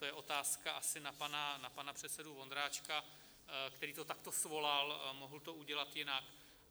To je otázka asi na pana předsedu Vondráčka, který to takto svolal, mohl to udělat jinak.